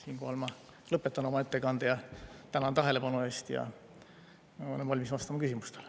Siinkohal ma lõpetan oma ettekande, tänan tähelepanu eest ja olen valmis vastama küsimustele.